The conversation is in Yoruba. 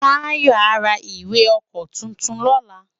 Tayo á rá iwé èkò tútún lòlá